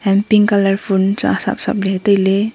hai pink colour ful chu asap asap ley tai ley.